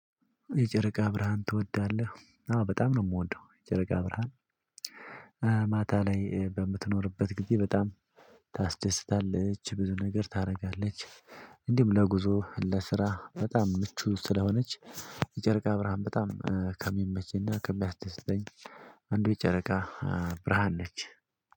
የጨረቃ ብርሃን ትወዳለህ? አዎ በጣም ነው የምወደው። የጨረቃ ብርሃን ማታ ላይ በምትኖርበት ጊዜ በጣም ታስደስታለች ብዙ ነገር ታደርጋለች። እንዲሁም ለጉዞ ለስራ በጣም ምቹ ስለሆነች የጨረቃ ብርሃን በጣም ከሚመቸኝ እና ና ከሚያስደስተኝ። አንዱ ጨረቃ ብርሃን ነች።